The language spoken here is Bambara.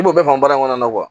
I b'o bɛɛ fɔ baara in kɔnɔ